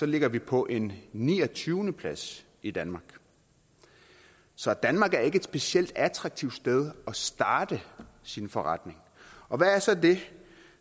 ligger vi på en niogtyvende plads i danmark så danmark er ikke et specielt attraktivt sted at starte sin forretning og hvad er så det